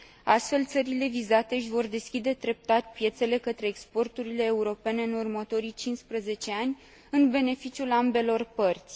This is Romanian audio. Astfel, țările vizate își vor deschide treptat piețele către exporturile europene în următorii 15 ani, în beneficiul ambelor părți.